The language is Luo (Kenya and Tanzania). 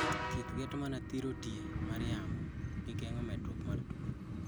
Thieth geto mana thiro tie mar yamo gi geng'o medruok mar tuo